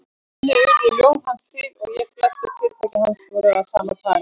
Þannig urðu ljóð hans til og flestöll fyrirtæki hans voru af sama toga.